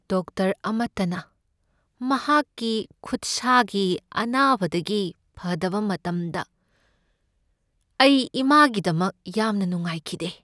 Doctor ꯑꯃꯠꯇꯅ ꯃꯍꯥꯛꯀꯤ ꯈꯨꯠꯁꯥꯒꯤ ꯑꯅꯥꯕꯗꯒꯤ ꯐꯥꯗꯕ ꯉꯝꯗꯕ ꯃꯇꯝꯗ ꯑꯩ ꯏꯃꯥꯒꯤꯗꯃꯛ ꯌꯥꯝꯅ ꯅꯨꯡꯉꯥꯏꯈꯤꯗꯦ ꯫